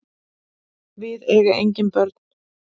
Við eiga engin börn.